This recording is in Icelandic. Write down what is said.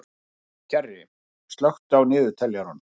Kjarri, slökktu á niðurteljaranum.